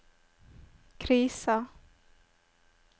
krisa